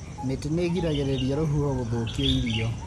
Mĩtĩ nĩ ĩgiragĩrĩria rũhuho gũthũkia irio.